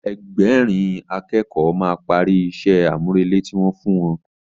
Ẹgbẹ̀rin a kẹ́kọ̀ọ́ máa parí ìṣe àmúrelé tí wọ́n fún ẹ